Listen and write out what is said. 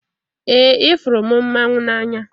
Ee, ifuru m mmanwu n'anya